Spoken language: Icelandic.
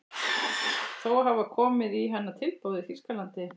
Þó hafa komið í hana tilboð í Þýskalandi.